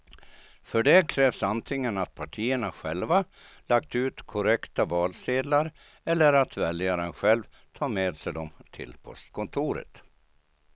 För det krävs antingen att partierna själva lagt ut korrekta valsedlar eller att väljaren själv tar med sig dem till postkontoret.